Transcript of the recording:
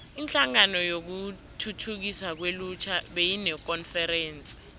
inhlangano yokuthuthukiswa kwelutjha beyinekonferense